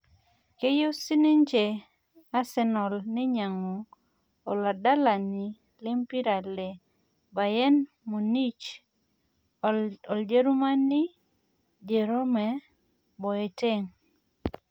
keyieu sinje Asenal Neinyang'u oladalani lempira le Bayern Munich loljerumani Jerome Boeteng'